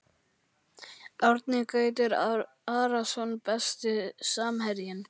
Árni Gautur Arason Besti samherjinn?